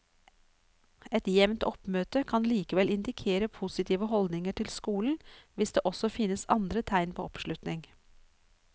Et jevnt oppmøte kan likevel indikere positive holdninger til skolen hvis det også finnes andre tegn på oppslutning.